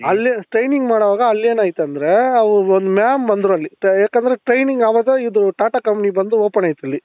ಅಲ್ಲಿ training ಮಾಡುವಾಗ ಅಲ್ ಏನಾಯ್ತoದ್ರೆ ಅವ್ರ ಒಂದು mam ಬಂದ್ರಲ್ಲಿ ಯಾಕoದ್ರೆ training ಆವಾಗ ಇದು ಟಾಟಾ company ಬಂದು open ಆಯ್ತಿಲ್ಲಿ